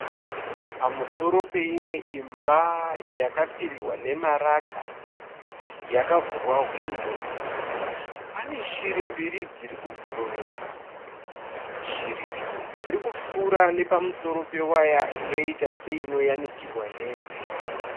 Pamusoro peimwe imba yakapfirirwa nemarata, yakavhurwa hwindo pane shiri mbiri dziri kubhururuka. Shiri idzi dzirikupfuura nepamusoro pewaya inoita seinoyanikirwa hembe.